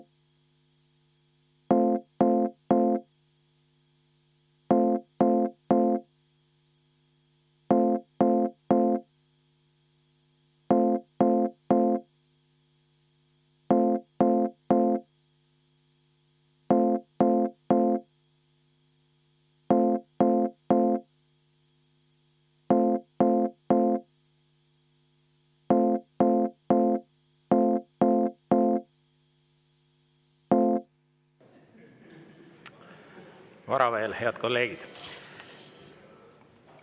Vara veel, head kolleegid.